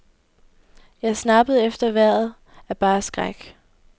Jeg snappede efter vejret af bare skræk.